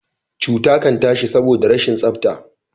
cuta Kan tashi saboda rashin tsafta